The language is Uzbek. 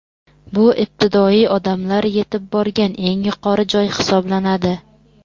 Bu ibtidoiy odamlar yetib borgan eng yuqori joy hisoblanadi.